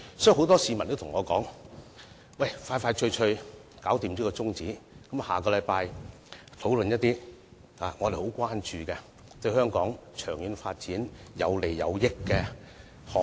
所以，很多市民都對我說，盡快通過休會待續議案，下星期討論他們很關注、對香港長遠發展有利的項目。